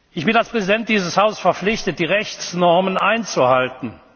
Ich bin als Präsident dieses Hauses verpflichtet, die Rechtsnormen einzuhalten.